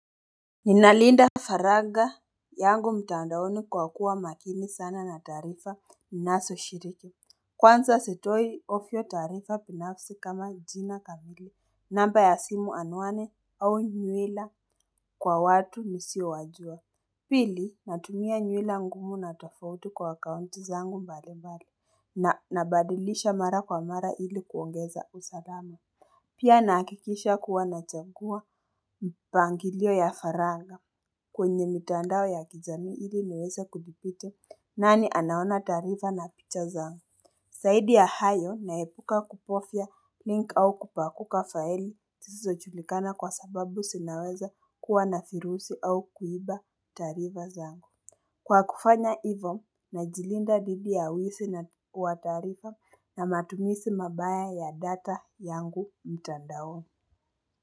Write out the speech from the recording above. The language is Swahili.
Ninalinda faragha yangu mtandaoni kwa kuwa makini sana na taarifa minazo shiriki. Kwanza sitoi taarifa binafsi kama jina kamili. Namba ya simu, anwani au nihela kwa watu nisiyo wajua. Pili natumia nywila ngumu na tofauti kwa akaunti zangu mbalimbali. Na nabadilisha mara kwa mara ili kuongeza usalama. Pia nahakikisha kuwa nachagua mpangilio ya faragha. Kwenye mitandao ya kijami ili niweza kudi nani anaona taarifa na picha zangu. Zaidi ya hayo naepuka kubofya link au kupakuka faili zisizo julikana kwa sababu zinaweza kuwa navirusi au kuiba taarifa zangu. Kwa kufanya hivyo najilinda dhidi ya wizi na wataarifa na matumizi mabaya ya data yangu mtandao.